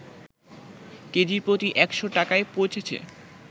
KG প্রতি ১০০ টাকায় পৌঁছেছে